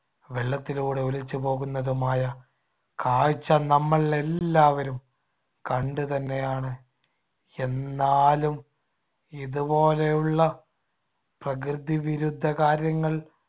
വെള്ളത്തിലൂടെ ഒലിച്ചുപോകുന്നതുമായ കാഴ്ച നമ്മൾ എല്ലാവരും കണ്ടുതന്നെയാണ്. എന്നാലും ഇതുപോലെയുള്ള പ്രകൃതിവിരുദ്ധ കാര്യങ്ങൾ